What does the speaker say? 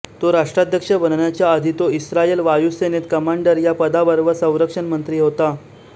तो राष्ट्राध्यक्ष बनण्याच्या आधी तो इस्रायल वायू सेनेत कमांडर या पदावर व संरक्षण मंत्री होता